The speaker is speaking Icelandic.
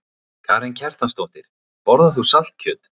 Karen Kjartansdóttir: Borðar þú saltkjöt?